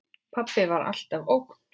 Pabbi var alltaf ógn.